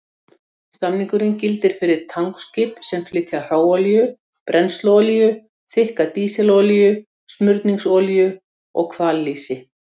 Samningurinn gildir fyrir tankskip sem flytja hráolíu, brennsluolíu, þykka dísilolíu, smurningsolíu og hvallýsi.